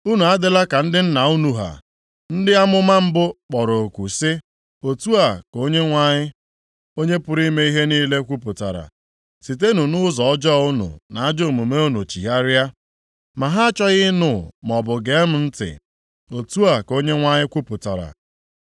Unu adịla ka ndị nna unu ha, ndị amụma mbụ kpọrọ oku si, Otu a ka Onyenwe anyị, Onye pụrụ ime ihe niile kwupụtara: ‘Sitenụ nʼụzọ ọjọọ unu na ajọ omume unu chigharịa’ ma ha achọghị ịnụ maọbụ gee m ntị, otu a ka Onyenwe anyị kwupụtara.